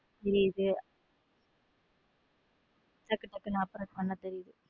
புரியுத டக்கு டக்குனு operate பண்ண தெரியுது.